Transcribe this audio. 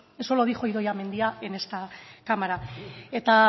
eso lo dijo idoia mendia en esta cámara